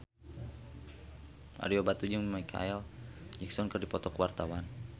Ario Batu jeung Micheal Jackson keur dipoto ku wartawan